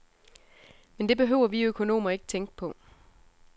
Men det behøver vi økonomer ikke tænke på.